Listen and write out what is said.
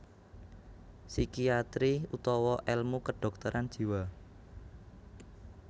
Psikiatri utawa èlmu kedhokteran jiwa